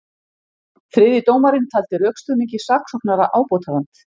Þriðji dómarinn taldi rökstuðningi saksóknara ábótavant